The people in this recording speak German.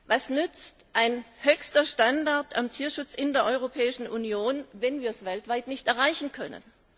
Was nützt ein höchster Standard im Tierschutz in der Europäischen Union, wenn wir ihn weltweit nicht erreichen können?